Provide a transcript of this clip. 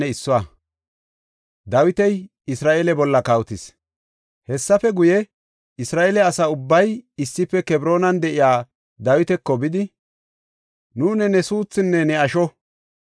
Hessafe guye, Isra7eele asa ubbay issife Kebroonan de7iya Dawitako bidi, “Nuuni ne suuthunne ne asho.